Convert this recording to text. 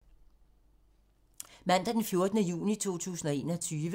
Mandag d. 14. juni 2021